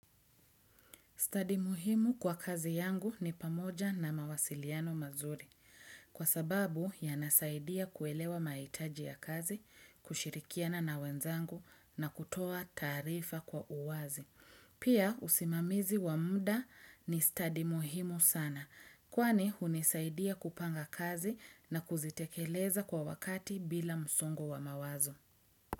Stadi muhimu kwa kazi yangu ni pamoja na mawasiliano mazuri, kwa sababu yanasaidia kuelewa mahitaji ya kazi, kushirikiana na wenzangu na kutoa taarifa kwa uwazi. Pia, usimamizi wa muda ni stadi muhimu sana, kwani hunisaidia kupanga kazi, na kuzitekeleza kwa wakati bila msongo wa mawazo.